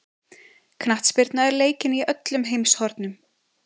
Knattspyrna er leikin í öllum heimshornum.